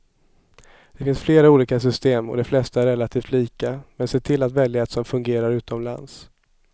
Det finns flera olika system och de flesta är relativt lika, men se till att välja ett som fungerar utomlands.